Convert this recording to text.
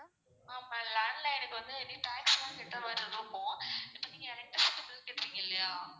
ஆமா landline க்கு வந்து இனி tax லான் கெட்டுருமாறி இருக்கும் இப்போ நீங்க electricity bill கெட்றீங்க இல்லையா